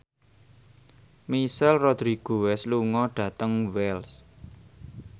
Michelle Rodriguez lunga dhateng Wells